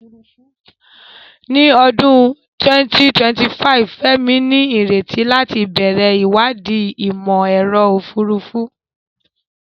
Ní ọdún 2025, Femi ní ìrètí láti bẹ̀rẹ̀ ìwádìí Ìmọ̀-ẹ̀rọ Òfurufú.